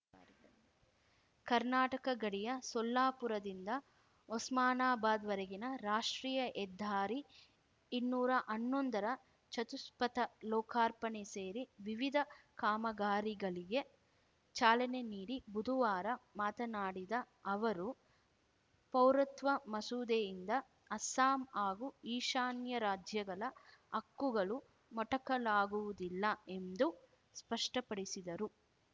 ಕರ್ನಾಟಕ ಗಡಿಯ ಸೊಲ್ಲಾಪುರದಿಂದ ಒಸ್ಮಾನಾಬಾದ್‌ವರೆಗಿನ ರಾಷ್ಟ್ರೀಯ ಹೆದ್ದಾರಿ ಇನ್ನೂರಾ ಹನ್ನೊಂದರ ಚತುಷ್ಪಥ ಲೋಕಾರ್ಪಣೆ ಸೇರಿ ವಿವಿಧ ಕಾಮಗಾರಿಗಳಿಗೆ ಚಾಲನೆ ನೀಡಿ ಬುದುವಾರ ಮಾತನಾಡಿದ ಅವರು ಪೌರತ್ವ ಮಸೂದೆಯಿಂದ ಅಸ್ಸಾಂ ಹಾಗೂ ಈಶಾನ್ಯ ರಾಜ್ಯಗಳ ಹಕ್ಕುಗಳು ಮೊಟಕಲಾಗುವುದಿಲ್ಲ ಎಂದೂ ಸ್ಪಷ್ಟಪಡಿಸಿದರು